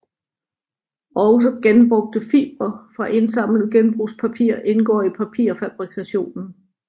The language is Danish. Også genbrugte fibre fra indsamlet genbrugspapir indgår i papirfabrikationen